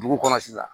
Dugu kɔnɔ sisan